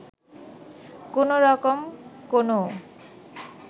কোন রকম কোনও